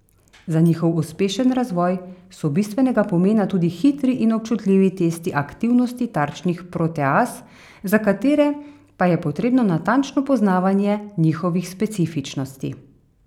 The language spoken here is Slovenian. Za njihov uspešen razvoj so bistvenega pomena tudi hitri in občutljivi testi aktivnosti tarčnih proteaz, za katere pa je potrebno natančno poznavanje njihove specifičnosti.